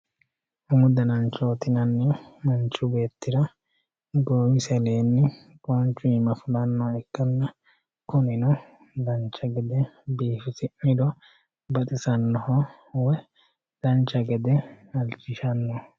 umu dananchooti yinannihu manchi beetira goowisi aleenni qoonchu iima fulannoha ikkanna, kunino dancha geede biifisi'niro baxisannoho woyi dancha gede halchishannoho